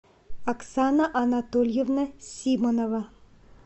оксана анатольевна симонова